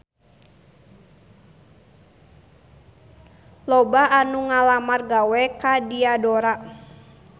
Loba anu ngalamar gawe ka Diadora